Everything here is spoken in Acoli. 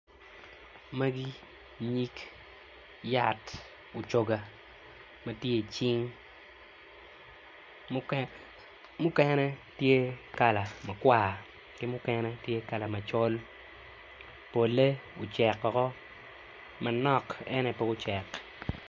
Magi nyig yat mucugwa madyer cing mukene tyekala makwar ki mukene tye kala macol pole oceko manok en aye pud pe ocek.